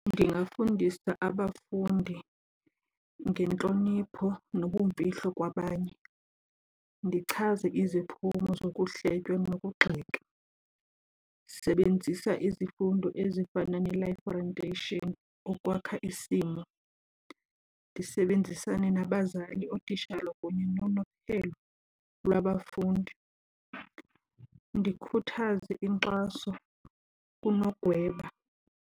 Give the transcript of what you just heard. Ndingafundisa abafundi ngentlonipho nobumfihlo kwabanye, ndichaze iziphumo zokuhletywa nokugxeka. Sebenzisa izifundo ezifana neLife Orientation ukwakha isimo. Ndisebenzisane nabazali, ootitshala kunye lwabafundi. Ndikhuthaze inkxaso kunogweba.